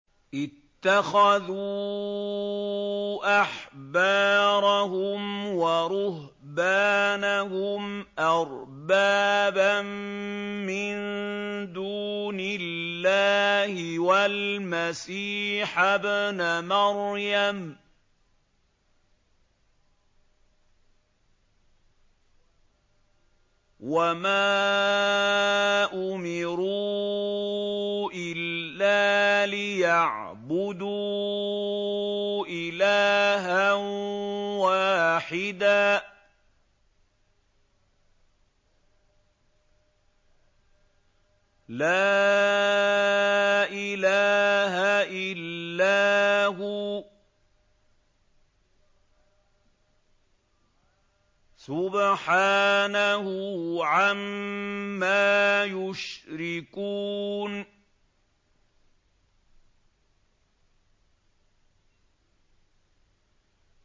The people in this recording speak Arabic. اتَّخَذُوا أَحْبَارَهُمْ وَرُهْبَانَهُمْ أَرْبَابًا مِّن دُونِ اللَّهِ وَالْمَسِيحَ ابْنَ مَرْيَمَ وَمَا أُمِرُوا إِلَّا لِيَعْبُدُوا إِلَٰهًا وَاحِدًا ۖ لَّا إِلَٰهَ إِلَّا هُوَ ۚ سُبْحَانَهُ عَمَّا يُشْرِكُونَ